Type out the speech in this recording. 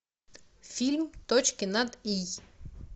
фильм точки над и